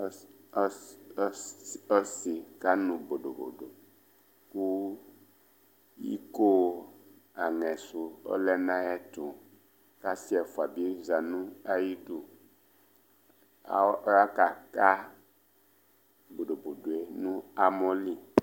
As as ɔsɩ kanʋ bodobodo kʋ iko anɛ sʋ ɔlɛ nʋ ayɛtʋ kʋ asɩ ɛfʋa bɩ za nʋ ayidu Aw ɔya kaka bodobodo yɛ nʋ amɔ li